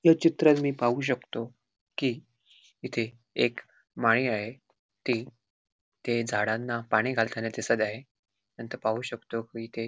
या चित्रात मी पाहू शकतो की इथे एक माळी आहे ते ते झाडांना पाणी घालताना दिसत आहे. नंतर पाहू शकतो की इथे --